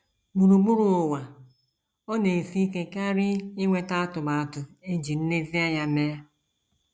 Gburugburu ụwa, ọ na - esi ike karị inweta atụmatụ e ji nlezianya mee.